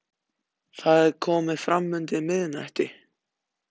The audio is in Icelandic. Það er komið fram undir miðnætti.